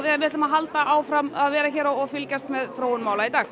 en við ætlum að halda áfram að vera hér og fylgjast með þróun mála í dag